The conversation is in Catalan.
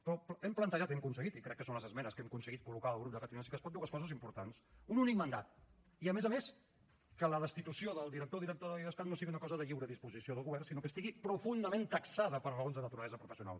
però hem plantejat i hem aconseguit i crec que són les esmenes que hem aconseguit col·locar el grup de catalunya sí que es pot dues coses importants un únic mandat i a més a més que la destitució del director o directora de l’idescat no sigui una cosa de lliure disposició del govern sinó que estigui profundament taxada per raons de naturalesa professional